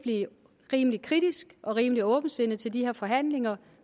rimelig kritisk og med rimelig åbent sind til de her forhandlinger